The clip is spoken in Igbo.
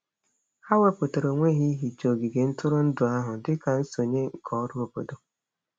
Ha wepụtara onwe ha ihicha ogige ntụrụndụ ahụ dị ka nsonye nke ọrụ obodo.